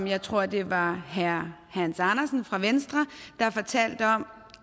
jeg tror at det var herre hans andersen fra venstre der fortalte om